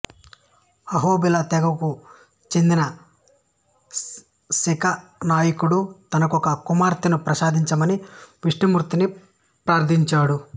అహోబిల తెగకు చెందిన శిఖనాయకుడు తనకొక కుమార్తెను ప్రసాదించమని విష్ణుమూర్తిని ప్రార్థించాడు